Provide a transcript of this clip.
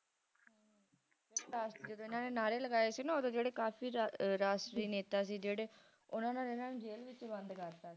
ਚ ਜਦੋ ਹਨ ਨੇ ਨਾਅਰੇ ਲਗਾਏ ਸੀ ਨਾ ਓਹਦੇ ਜਿਹੜੇ ਕਾਫੀ ਰਾਸ਼ਟਰੀ ਨੇਤਾ ਸੀ ਜੇੜੇ ਓਹਨਾ ਨੇ ਓਹਨਾ ਨੂੰ ਜੇਲ ਚ ਵੀ ਬੰਦ ਕਰਤਾ ਸੀ